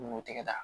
N'o tɛ tigɛ tan